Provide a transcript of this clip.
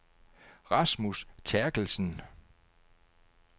Rasmus Therkelsen